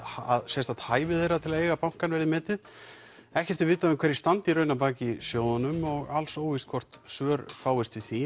að sérstakt hæfi þeirra til að eiga bankann verði metið ekkert er vitað um hverjir standi í raun að baki sjóðunum og alls óvíst hvort svör fást við því